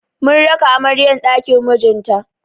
Mun raka amaryar ɗakin mijinta.